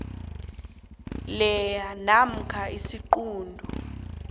lea namkha isiquntu